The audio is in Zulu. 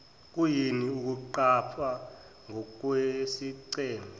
kuyini ukuqapha ngokwesigceme